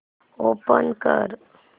open कर